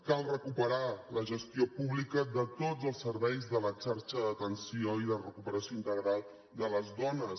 cal recuperar la gestió pública de tots els serveis de la xarxa d’atenció i de recuperació integral de les dones